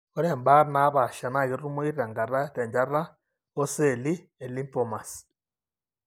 Ore imbaat naapaasha naa ketumoyu tenakata tenchata ooceelli elymphomas.